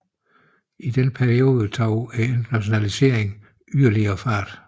I denne periode tog internationaliseringen yderligere fart